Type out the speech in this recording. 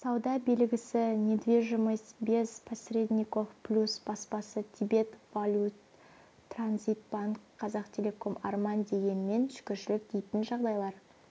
сауда белгісі недвижимость без посредников плюс баспасы тибет валют-транзит банк қазақтелеком арман дегенмен шүкіршілік дейтін жағдайлар